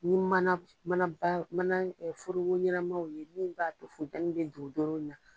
Ni mana mana ba mana forogo ɲɛnamaw ye min b'a to funtɛni bɛ dorodoro la